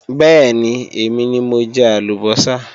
Bẹ́ẹ̀ni, èmi ni mo ń jẹ àlùbọ́sà